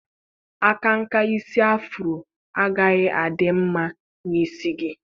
Akanka isi afuro agaghị adị mma n'isi gi.